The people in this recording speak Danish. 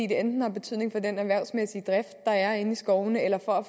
det enten har betydning for den erhvervsmæssige drift der er inde i skovene eller for at